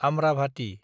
Amravati